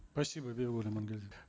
спасибо бибигуль